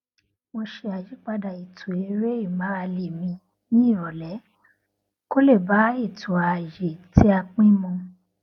mo ṣe àyípadà ètò eré ìmárale mi ní ìròlé kó lè bá ètò ààyè tí a pín mu